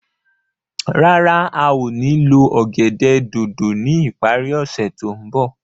Rárá a o ní lo ọ̀gẹ̀dẹ̀ dòdò ni ipari ose to nbọ